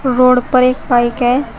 Road पर एक bike है।